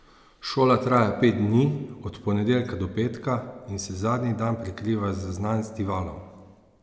Šola traja pet dni, od ponedeljka do petka, in se zadnji dan prekriva z Znanstivalom.